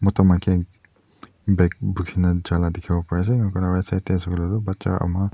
mota maiki bag bhuki na jua lah dekhi bo pare ase aru right side teh hoise koi ley tu baccha ama--